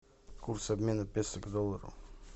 курс обмена песо к доллару